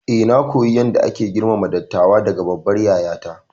Eh, na koyi yadda ake girmama dattawa daga babbar yayata.